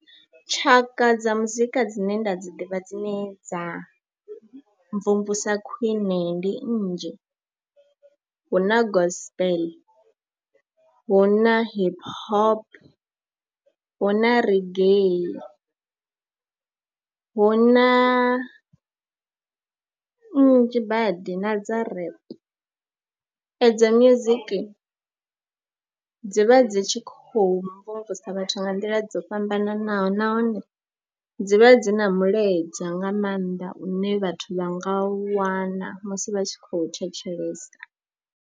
Tshaka dza muzika dzine nda dzi ḓivha dzine dza mvumvusa khwiṋe ndi nnzhi, hu na Gospel, hu na Hip Hop, hu na Reggae, hu na nnzhi badi na dza Rap. Edzo music dzi vha dzi tshi khou mvumvusa vhathu nga nḓila dzo fhambananaho nahone dzi vha dzi na mulaedza nga maanḓa une vhathu vha nga u wana musi vha tshi khou thetshelesa.